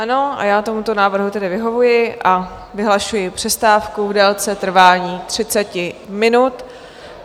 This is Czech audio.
Ano, a já tomuto návrhu tedy vyhovuji a vyhlašuji přestávku v délce trvání 30 minut.